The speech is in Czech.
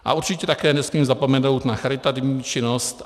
A určitě také nesmím zapomenout na charitativní činnost.